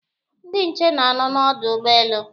Ndị nche na-anọ n'ọdụ ụgbọelu